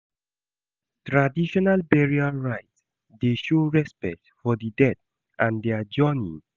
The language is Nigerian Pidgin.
Traditional burial rite dey show respect for di dead and their journey.